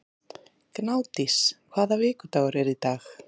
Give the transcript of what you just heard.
Gnádís, hvaða vikudagur er í dag?